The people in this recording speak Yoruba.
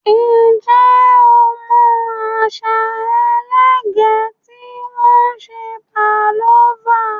Ǹjẹ́ o mọ àṣà ẹlẹgẹ́ tí wọ́n fi ń se pavlova?